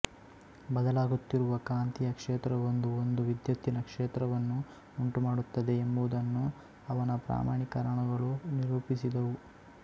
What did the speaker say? ಬದಲಾಗುತ್ತಿರುವ ಕಾಂತೀಯ ಕ್ಷೇತ್ರವೊಂದು ಒಂದು ವಿದ್ಯುತ್ತಿನ ಕ್ಷೇತ್ರವನ್ನು ಉಂಟುಮಾಡುತ್ತದೆ ಎಂಬುದನ್ನು ಅವನ ಪ್ರಮಾಣೀಕರಣಗಳು ನಿರೂಪಿಸಿದವು